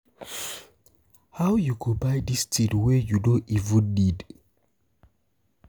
I go pay my school fees first and house rent before any other thing.